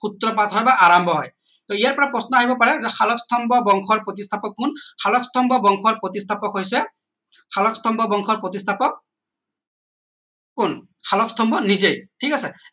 সূত্ৰপাত হয় বা আৰাম্ভ হয় টৌ ইয়াৰ পৰা প্ৰশ্ন আহিব পাৰে যে শালস্তম্ভ বংশৰ প্ৰতিস্থাপক কোন শালস্তম্ভ বংশৰ প্ৰতিস্থাপক হৈছে শালস্তম্ভ বংশৰ প্ৰতিস্থাপক কোন শালস্তম্ভ নিজেই ঠিক আছে